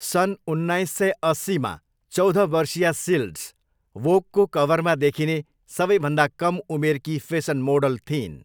सन् उन्नाइस सय अस्सीमा चौध वर्षीया सिल्ड्स वोगको कभरमा देखिने सबैभन्दा कम उमेरकी फेसन मोडल थिइन्।